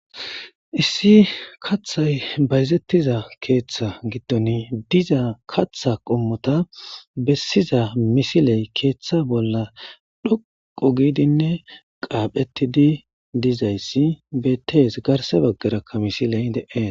Issi kathay bayzettiza keeththa gidton diza katha qommota bessiza misiley keeththa bolla dhoqo giidinne qaaphettidi dizayssi betees garse baggarakka misiley deeen.